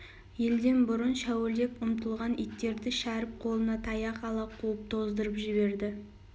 елден бұрын шәуілдеп ұмтылған иттерді шәріп қолына таяқ ала қуып тоздырып жіберді